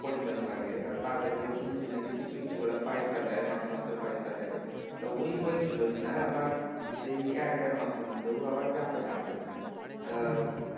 পরিজন লাগে তা তাদেরকেও শুনছি নাকি কিছু কিছু করে পয়সা দেয় মাসে মাসে পয়সা দেই তা ওই বলছিল কিনা আবার এই এক দেড় মাসের মধ্যে ও আবার যাবে আরব তা